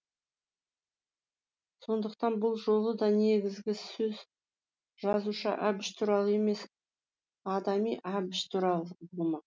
сондықтан бұл жолы да негізгі сөз жазушы әбіш туралы емес адами әбіш туралы болмақ